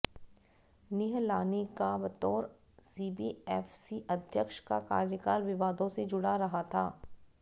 निहलानी का बतौर सीबीएफसी अध्यक्ष का कार्यकाल विवादों से जुड़ा रहा था